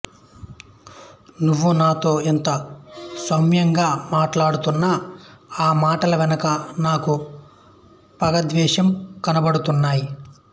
నువ్వు నాతో ఎంతో సౌమ్యంగా మాట్లాడుతున్నా ఆ మాటల వెనుక నాకు పగద్వేషం కనపడుతున్నాయి